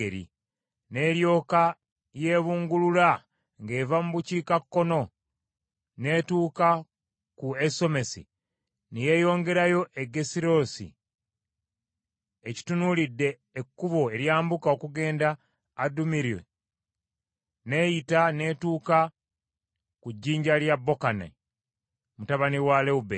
N’eryoka yeebungulula ng’eva mu bukiikakkono n’etuuka ku Ensomesi ne yeeyongerayo e Gerirosi ekitunuulidde ekkubo eryambuka okugenda Adummiru n’eyita n’etuuka ku jjinja lya Bokani mutabani wa Lewubeeni,